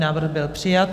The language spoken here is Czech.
Návrh byl přijat.